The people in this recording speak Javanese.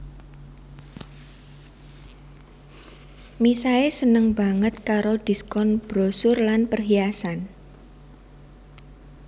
Misae seneng baget karo diskon brosur lan perhiasan